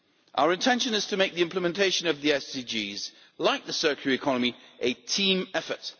Our intention is to make the implementation of the SDGs, like the circular economy, a team effort.